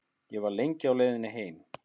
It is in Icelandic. Ég var lengi á leiðinni heim.